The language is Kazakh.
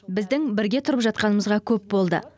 біздің бірге тұрып жатқанымызға көп болды